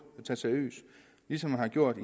tage seriøst ligesom man har gjort